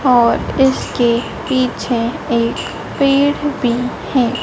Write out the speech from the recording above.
और इसके पीछे एक पेड़ भी है।